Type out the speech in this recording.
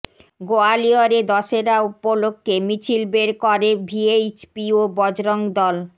গোয়ালিয়রে দশেরা উপলক্ষ্যে মিছিল বের করে ভিএইচপি ও বজরং দল